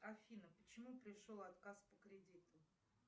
афина почему пришел отказ по кредиту